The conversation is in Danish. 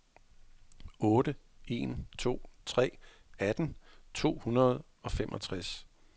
otte en to tre atten to hundrede og femogtres